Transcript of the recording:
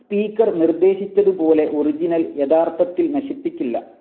Speaker നിർദ്ദേശിച്ചതുപോലെ original യഥാർത്ഥത്തിൽ നശിപ്പിക്കില്ല.